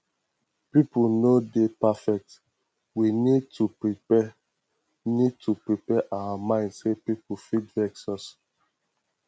pipo no dey perfect we need to prepare need to prepare our mind sey pipo fit vex us